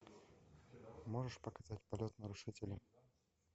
можешь показать полет нарушителя